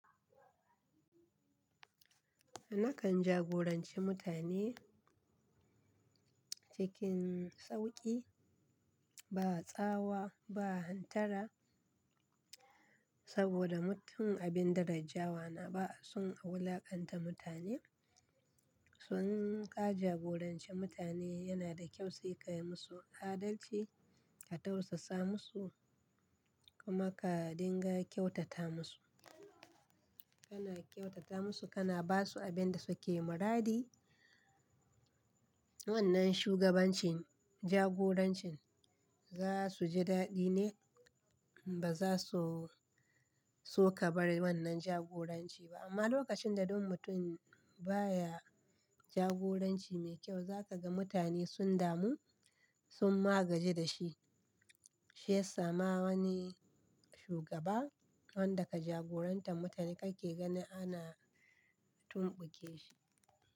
Nakan jagoranci mutane cikin sauƙi, ba tsawa ba, hantara saboda mutum abin daraja wana ba sun a wulaƙanta mutane. Sun ka jagorance mutane yana da kyau sai ka yi musu adalci, ka tausasa musu kuma ka dinga kyautata musu. Kana kyautata musu, kana ba su abin da suke muradi. Wannan shugabancin jagorancin za su ji daɗi ne ba za su so ka bar wannan jagoranci ba. Amma lokacin da duk mutum baya jagoranci mai kyau, za ka ga mutane sun damu, sun ma gaji da shi. Shi ya sa ma wani shugaba wanda ka jagorantan mutane kake gani ana tumɓuke shi.